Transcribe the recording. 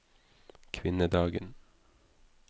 kvinnedagen